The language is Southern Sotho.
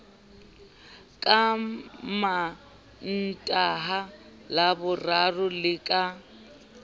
ka mantaha laboraro le ka